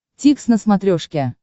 дтикс на смотрешке